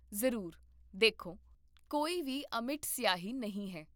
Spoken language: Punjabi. ਜ਼ਰੂਰ, ਦੇਖੋ, ਕੋਈ ਵੀ ਅਮਿੱਟ ਸਿਆਹੀ ਨਹੀਂ ਹੈ